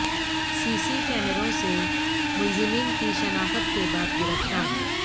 سی C کیمروں سے ملزمین کی شناخت کے بعد گرفتار